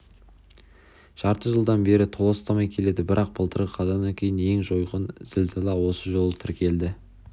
жарты жылдан бері толастамай келеді бірақ былтырғы қазаннан кейінгі ең жойқын зілзала осы жолы тіркелді